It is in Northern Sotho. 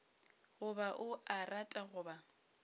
goba o a rata goba